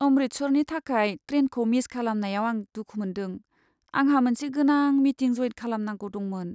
अमृतसरनि थाखाय ट्रेनखौ मिस खालामनायाव आं दुखु मोनदों, आंहा मोनसे गोनां मिटिं जयेन खालामनांगौ दंमोन।